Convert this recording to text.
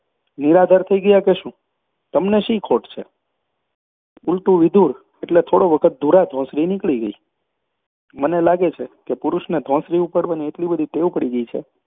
નિરાધાર થઈ ગયા કે શું તમને શી ખોટ છે ઊલટું વિધુર એટલે થોડો વખત ધુરા ધોંસરી નીકળી ગઈ મને લાગે છે કે પુરુષને ધોંસરી ઉપાડવાની એટલી બધી ટેવ પડી ગઈ છે